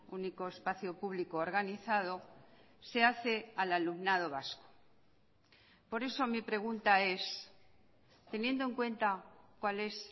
único espacio público organizado se hace al alumnado vasco por eso mi pregunta es teniendo en cuenta cuál es